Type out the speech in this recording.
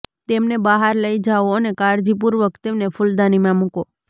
તેમને બહાર લઈ જાઓ અને કાળજીપૂર્વક તેમને ફૂલદાનીમાં મૂકો